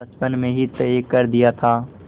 बचपन में ही तय कर दिया था